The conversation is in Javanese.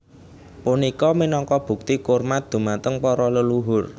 Punika minangka bukti kurmat dhumateng para leluhur